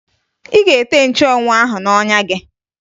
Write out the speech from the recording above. Ị ga-ete nchụanwụ ahụ n'ọnya gị!